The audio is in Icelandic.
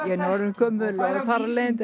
ég er orðin gömul og þar af leiðandi